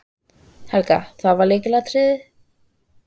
Helga: Það var lykilatriðið?